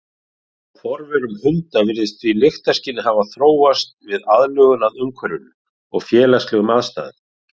Hjá forverum hunda virðist því lyktarskynið hafa þróast við aðlögun að umhverfinu og félagslegum aðstæðum.